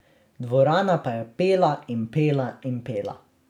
Dvorana pa je pela in pela in pela.